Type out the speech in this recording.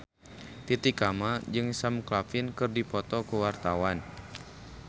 Titi Kamal jeung Sam Claflin keur dipoto ku wartawan